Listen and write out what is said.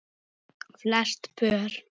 Flest pör